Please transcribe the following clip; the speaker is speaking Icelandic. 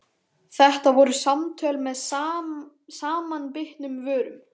Þetta voru samtöl með samanbitnum vörum.